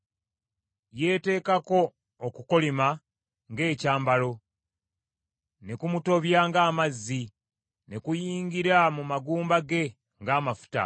Yeeteekako okukolima ng’ekyambalo, ne kumutobya ng’amazzi, ne kuyingira mu magumba ge ng’amafuta.